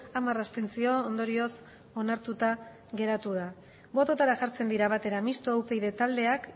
hamar abstentzio ondorioz onartuta geratu da bototara jartzen dira batera mistoa upyd taldeak